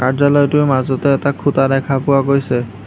কাৰ্য্যালয়টোৰ মাজতে এটা খুঁটা দেখা পোৱা গৈছে।